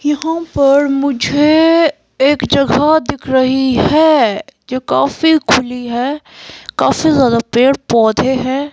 यहाँ पर मुझे एक जगह दिख रही है जो काफी खुली है काफी ज्यादा पैड पौधे है।